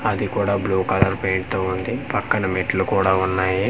అది కూడా blue colour paint తో ఉంది పక్కన మెట్లు కూడా ఉన్నాయి.